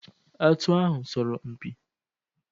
Atụ ahụ sọrọ m mpi.